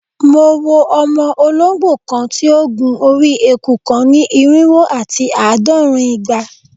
Mo wo ọmọ ologbo kan ti o gun ori eku kan ni irinwo ati aadọrin igba